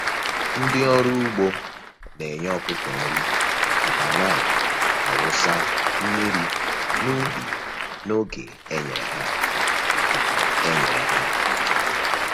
Ndị ọrụ ugbo na-enye ọkụkọ nri ma na-awụsa mmiri n’ubi n’oge e nyere ha. e nyere ha.